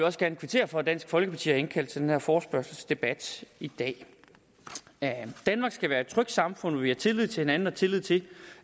også gerne kvittere for at dansk folkeparti har indkaldt til den her forespørgselsdebat i dag danmark skal være et trygt samfund hvor vi har tillid til hinanden og tillid til